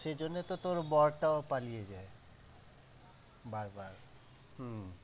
সেই জন্য তো তোর বর টাও পালিয়ে যায়। বারাবার, উম